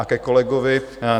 A ke kolegovi.